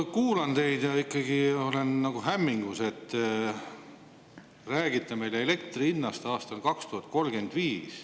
Ma kuulan teid ja ikkagi olen nagu hämmingus, et te räägite meile elektri hinnast aastal 2035.